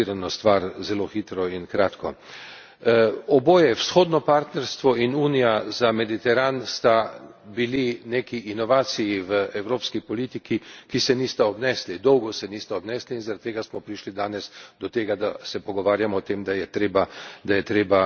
Oboje, Vzhodno partnerstvo in Unija za Mediteran sta bili neki inovaciji v evropski politiki, ki se nista obnesli, dolgo se nista obnesli in zaradi tega smo prišli danes do tega, da se pogovarjamo o tem, da je potrebna temeljita revizija.